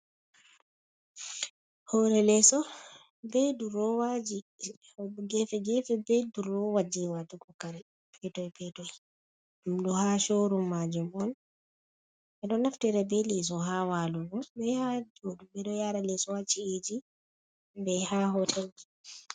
Hore leeso be durowaaji gefe-gefe, be durowa jei watugo kare petoi-petoi, ɗum ɗo ha shoo rum maajum on. Ɓe ɗo naftira be leeso ha walugo, be ha jooɗugo. Ɓe ɗo yaara leso ha ci'eji, be ha hotelji.